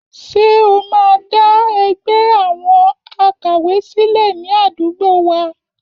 Ṣé o máa dá ẹgbẹ́ àwọn àkàwé sílẹ̀ ní àdúgbò wa?